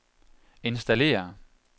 installere